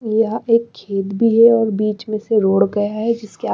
यह एक खेत भी है और बीच में से रोड गया है जिसके--